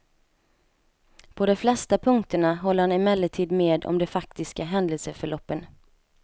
På de flesta punkterna håller han emellertid med om de faktiska händelseförloppen.